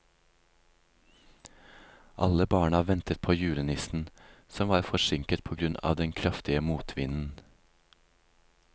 Alle barna ventet på julenissen, som var forsinket på grunn av den kraftige motvinden.